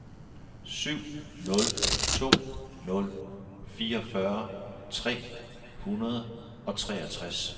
syv nul to nul fireogfyrre tre hundrede og treogtres